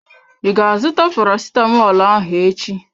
I ga azụta parasitamọl ahụ echi?